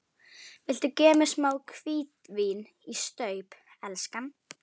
Viltu gefa mér smá hvítvín í staup, elskan?